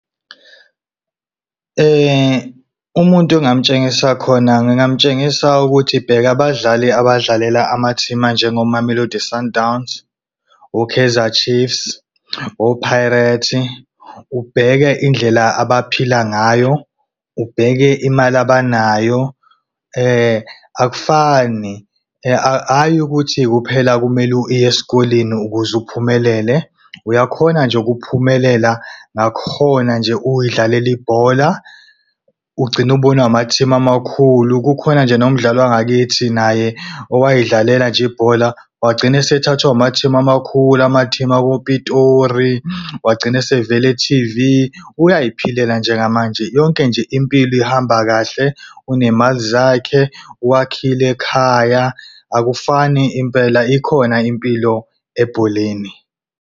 Umuntu engamtshengisa khona ngingamtshengisa ukuthi bheka abadlali abadlalela amateam anjengoMamelodi Sundowns, oKaizer Chiefs, oPirates. Ubheke indlela abaphila ngayo, ubheke imali abanayo. akufani hhayi ukuthi kuphela kumele uye esikoleni ukuze uphumelele. Uyakhona nje ukuphumelela ngakhona nje uyidlalela ibhola, ugcine ukubonwa amathimu amakhulu. Kukhona nje nomdlali wakithi naye owayedlalela nje ibhola wagcina esethathiwe amathimu, amakhulu amathimu akoPitori. Wagcina esevela e-T_V, uyayiphilela njengamanje yonke nje impilo ihamba kahle. Unemali zakhe wakila ekhaya akufani impela ikhona impilo ebholeni.